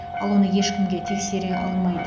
ал оны ешкім де тексере алмайды